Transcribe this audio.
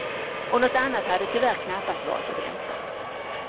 Och något annat hade tyvärr knappast varit att vänta.